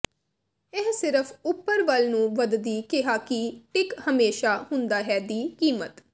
ਇਹ ਸਿਰਫ ਉਪਰ ਵੱਲ ਨੂੰ ਵੱਧਦੀ ਕਿਹਾ ਕਿ ਟਿੱਕ ਹਮੇਸ਼ਾ ਹੁੰਦਾ ਹੈ ਦੀ ਕੀਮਤ ਹੈ